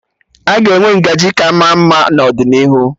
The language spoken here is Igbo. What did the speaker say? Aga enwe ngaji ka ma mma n'ọdịnihu